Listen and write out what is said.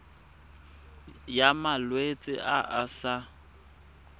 ya malwetse a a sa